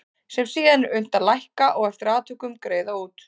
sem síðan er unnt að lækka og eftir atvikum greiða út.